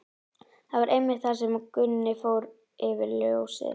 Það var einmitt þá sem Gunni fór fyrir ljósið.